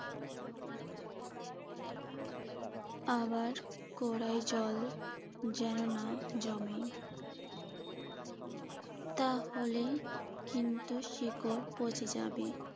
আবার গড়াই জল যেন না জমে। তাহলে কিন্তু শিকড় পচে যাবে।